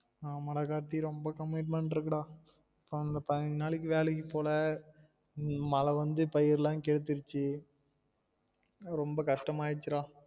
ஆமா டா கார்த்தி ரொம்ப commitment இருக்கு டா அந்த பயிஞ்சி நாளைக்கு வேலைக்கு போல மழ வந்து பயிறுலாம் கேத்துருச்சு ரொம்ப கஷ்டமா ஆயிருச்சுடா